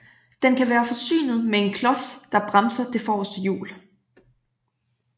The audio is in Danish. Den kan være forsynet med en klods der bremser det forreste hjul